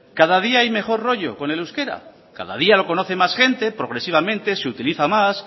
cada día hay mejor rollo con el euskera cada día lo conoce más gente progresivamente se utiliza más